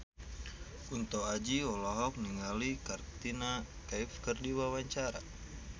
Kunto Aji olohok ningali Katrina Kaif keur diwawancara